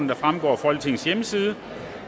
der fremgår af folketingets hjemmeside